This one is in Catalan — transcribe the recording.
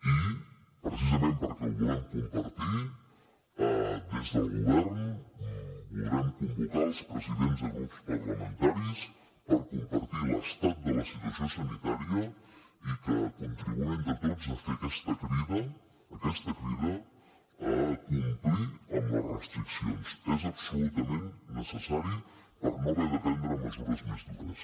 i precisament perquè ho volem compartir des del govern voldrem convocar els presidents de grups parlamentaris per compartir l’estat de la situació sanitària i que contribuïm entre tots a fer aquesta crida aquesta crida a complir amb les restriccions és absolutament necessari per no haver de prendre mesures més dures